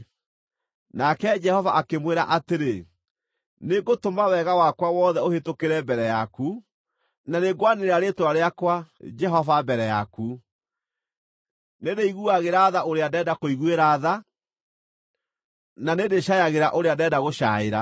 Nake Jehova akĩmwĩra atĩrĩ, “Nĩngũtũma wega wakwa wothe ũhĩtũkĩre mbere yaku, na nĩngwanĩrĩra rĩĩtwa rĩakwa, Jehova, mbere yaku: Nĩndĩiguagĩra tha ũrĩa ndenda kũiguĩra tha, na nĩndĩcaayagĩra ũrĩa ndenda gũcaĩra.”